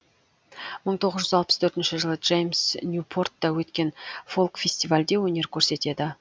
мың тоғыз жүз алпыс төртінші жылы джеймс ньюпортта өткен фолк фестивальде өнер көрсетеді